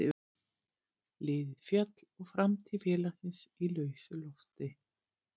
Liðið féll og framtíð félagsins í lausu lofti.